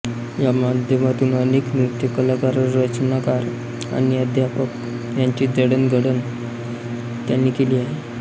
या माध्यमातून अनेक नृत्य कलाकाररचनाकार आणि अध्यापक यांची जडणघडण त्यांनी केली आहे